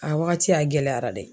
A wagati, a gɛlɛyara dɛ.